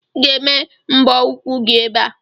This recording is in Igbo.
Ị ga-eme mbọ ụkwụ gị ebe a!